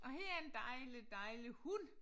Og her er en dejlig dejlig hund